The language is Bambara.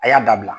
A y'a dabila